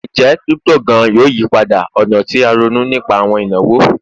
Njẹ crypto gaan yoo yipada ọna ti a ronu nipa awọn inawo?